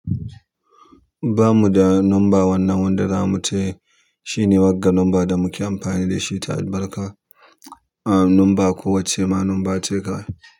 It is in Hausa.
Ba mu da number wannan wanda zamu taya. Shine wagga number da muke amfani da shi ta albarka, ah number ko wacce ma number ka.